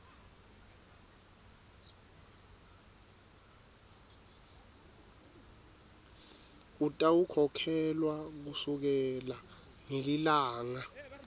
utawukhokhelwa kusukela ngelilanga